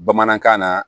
Bamanankan na